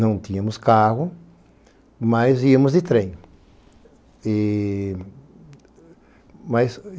Não tínhamos carro, mas íamos de trem. E, mas...